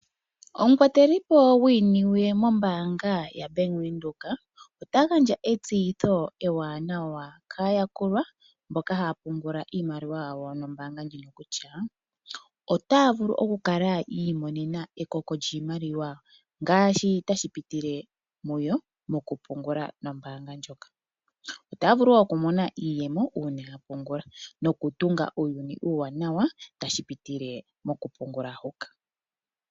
Omukwatelipo gwiiniwe mombaanga yaBank Windhoek ota gandja etseyitho ewanawa kaayakulwa mboka haya pungula iimaliwa yawo nombaanga ndjino kutya , otaya vulu oku kala yi imonena ekoko lyiimaliwa ngaashi tashi pitile mu yo mokupungula nombaanga ndjoka. Otaya vulu wo okumona iiyemo uuna ya pungula nokutunga uuyuni uuwanawa tashi pitile mokupungula huka.